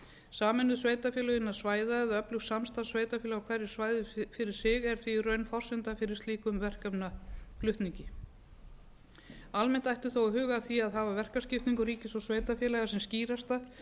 sameinuð sveitarfélög innan svæða eða öflugt samstarf sveitarfélaga á hverju svæði fyrir sig er því í raun forsenda fyrir slíkum verkefnaflutningi almennt ætti þó að huga að því að hafa verkaskiptingu ríkis og sveitarfélaga sem skýrasta